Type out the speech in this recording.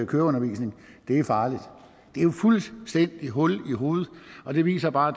køreundervisning det er farligt det er jo fuldstændig hul i hovedet og det viser bare